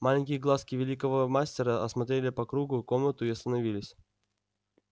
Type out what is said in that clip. маленькие глазки великого мастера осмотрели по кругу комнату и остановились